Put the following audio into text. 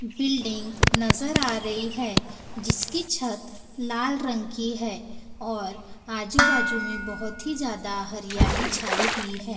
Building नजर आ रही है जिसकी छत लाल रंग की है और आजु बाजू मे बहोत ही ज्यादा हरियाली छाई हुई है।